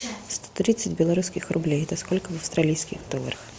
сто тридцать белорусских рублей это сколько в австралийских долларах